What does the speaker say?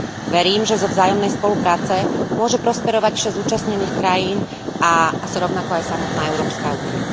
Verím, že zo vzájomnej spolupráce môže prosperovať šesť zúčastnených krajín a rovnako aj samotná Európska únia.